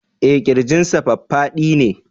Eh Kirjinsa faffadi ne